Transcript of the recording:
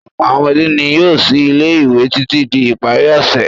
Ọ̀pọ̀ àwọn ọmọdé ni yóò sí ilé-ìwé títí di ìparí ọ̀sẹ̀.